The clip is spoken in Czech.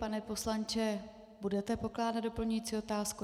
Pane poslanče, budete pokládat doplňující otázku?